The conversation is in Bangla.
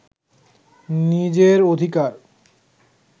নিজের অধিকার